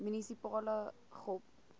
munisipale gop